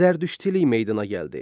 Zərdüştilik meydana gəldi.